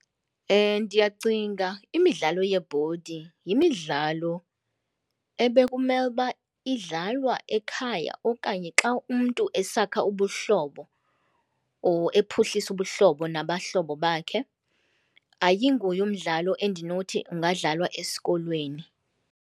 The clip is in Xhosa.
Ndiyacinga imidlalo yebhodi yimidlalo ebekumele uba idlalwa ekhaya okanye xa umntu esakha ubuhlobo or ephuhlisa ubuhlobo nabahlobo bakhe, ayinguye umdlalo endinothi ungadlalwa esikolweni.